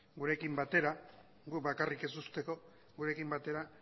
gurekin batera gu bakarrik ez usteko gurekin batera